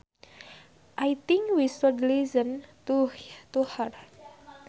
I think we should listen to her